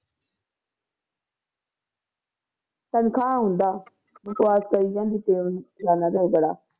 ਤਨਖਾਹ ਹੁੰਦਾ, ਬਕਵਾਸ ਕਰੀ ਜਾਂਦੀ ਪੇਅ ਫਲਾਨਾ ਧਿਮਕੜਾ।